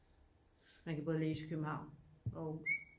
man kan både læse i københavn og aarhus